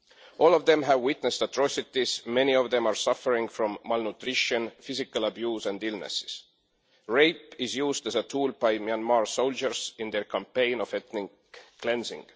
All of them have witnessed atrocities, and many of them are suffering from malnutrition, physical abuse and illnesses. Rape is used as a tool by Myanmar soldiers in their campaign of ethnic cleansing.